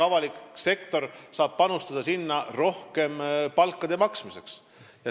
Avalik sektor saab panustada sinna rohkem palkade maksmiseks.